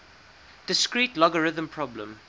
discrete logarithm problem